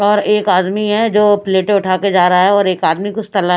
और एक आदमी है जो प्लेटें उठा के जा रहा है और एक आदमी कुछ तल--